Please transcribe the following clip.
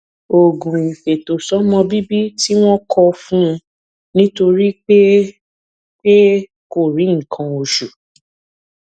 oògùn ìfètòsómọbíbí tí wón kọ fún un nítorí pé pé kò rí nǹkan oṣù